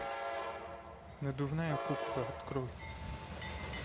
надувная кукла открой